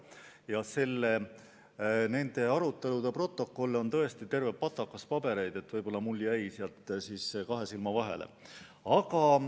Ja nende arutelude protokolle on tõesti terve patakas pabereid, võib‑olla mul jäi see osa kahe silma vahele.